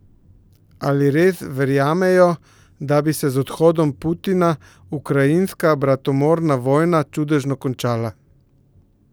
Ali res verjamejo, da bi se z odhodom Putina ukrajinska bratomorna vojna čudežno končala?